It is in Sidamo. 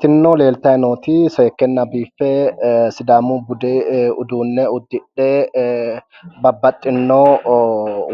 tinino leeltayi nooti seekkenna biiffe sidaamu bude uduunne uddidhe babbaxxino